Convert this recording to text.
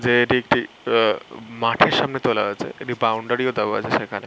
যে এটি একটি মাঠের সামনে তোলা আছে একটি বাউন্ডারি -ও দেওয়া আছে ।